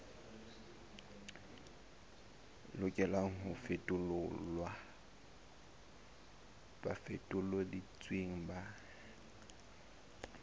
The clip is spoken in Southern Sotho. lokelang ho fetolelwa bafetoleding ba